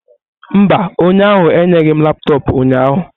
Mba, onye ahụ enyeghị m laptọọpụ ụnyaahụ.